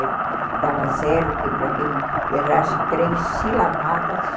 Ele dava zero para quem errasse três silabadas.